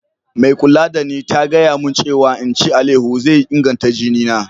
Mai kulla da ni ta gaya mun cewa n'ci alayeho zai inganta jini na.